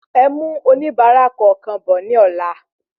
Ẹ mú oníbárà kọọkan bọ ní ola